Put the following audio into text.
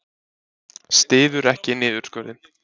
Styður ekki niðurskurðinn